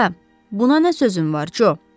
Hə, buna nə sözün var Co?